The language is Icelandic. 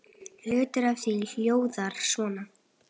Hluti af því hljóðar svo